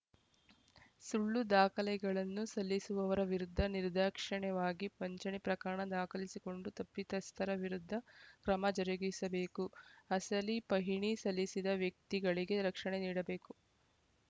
ಸುಳ್ಳು ದಾಖಲೆಗಳನ್ನು ಸಲ್ಲಿಸುವವರ ವಿರುದ್ಧ ನಿರ್ಧಾಕ್ಷಿಣ್ಯವಾಗಿ ವಂಚನೆ ಪ್ರಕರಣ ದಾಖಲಿಸಿಕೊಂಡು ತಪ್ಪಿತಸ್ಥರ ವಿರುದ್ಧ ಕ್ರಮ ಜರುಗಿಸಬೇಕು ಅಸಲಿ ಪಹಣಿ ಸಲ್ಲಿಸಿದ ವ್ಯಕ್ತಿಗಳಿಗೆ ರಕ್ಷಣೆ ನೀಡಬೇಕು